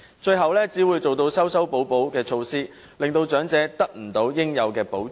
最後只會推行修修補補的措施，令長者未能得到應有的保障。